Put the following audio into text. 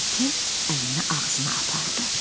deyə Tom əlini ağzına apardı.